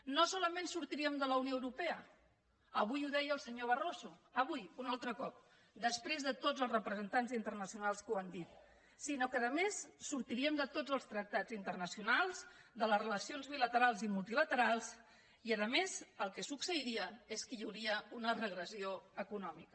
no solament sortiríem de la unió europea avui ho deia el senyor barroso avui un altre cop després de tots els representants internacionals que ho han dit sinó que a més sortiríem de tots els tractats internacionals de les relacions bilaterals i multilaterals i a més el que succeiria és que hi hauria una regressió econòmica